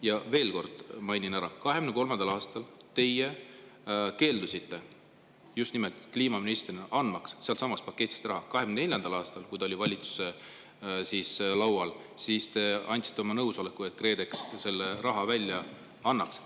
Ja veel kord mainin ära, et 2023. aastal te kliimaministrina keeldusite andmast sealtsamast paketist raha, aga 2024. aastal, kui see oli valitsuse laual, siis te andsite oma nõusoleku, et KredEx selle raha välja annaks.